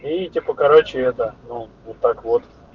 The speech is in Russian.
и типа короче это ну вот так вот